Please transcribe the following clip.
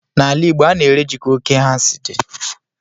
N'ala igbo, a na-ere ji ka oke nha si dị